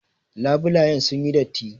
Labulayen sun yi datti.